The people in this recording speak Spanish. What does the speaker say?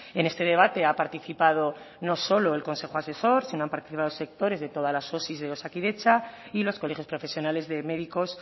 en este debate ha participado no solo el consejo asesor sino han participado sectores de todas las osi de osakidetza y los colegios profesionales de médicos